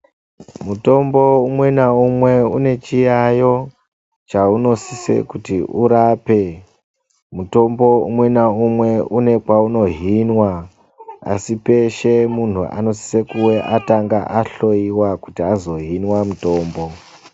Mutombo umwe naumwe une chiyayo chaunosisa kuti urape mutombo umwe naumwe asi peshe anosisa kunge atanga ahloiwa kuti azohinwa mutombo.